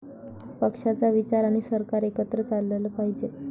पक्षाचा विचार आणि सरकार एकत्र चाललं पाहिजे.